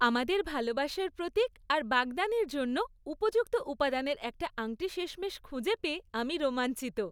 আমাদের ভালোবাসার প্রতীক আর বাগদানের জন্য উপযুক্ত উপাদানের একটা আংটি শেষমেশ খুঁজে পেয়ে আমি রোমাঞ্চিত।